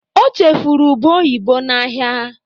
o chefuru ube oyibo na ahia